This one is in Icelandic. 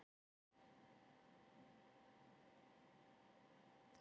Magnús Hlynur: Þannig að það er gott að búa í Grindavík?